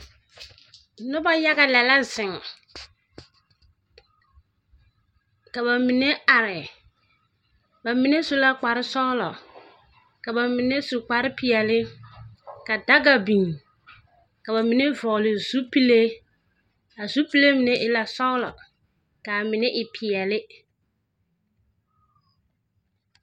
Noba yaga lԑ la zeŋ, ka ba mine are. Ba mine su la kpare-sͻgelͻ, ka ba mine su kpare-peԑle ka daga biŋ. Ka ba mine vͻgele zupile. A zupile mine e la sͻgelͻ, kaa mine e peԑle.